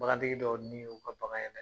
Bagatigi dɔw ni y'u ka bagan ye dɛ!